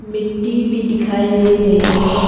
मिट्टी भी दिखाई दे रहे हैं।